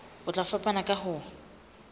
e tla fapana ka ho